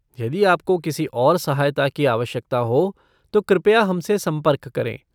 यदि आपको किसी और सहायता की आवश्यकता हो तो कृपया हमसे संपर्क करें।